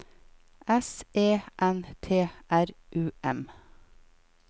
S E N T R U M